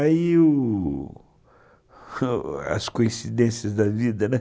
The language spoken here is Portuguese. Aí, u... as coincidências da vida, né?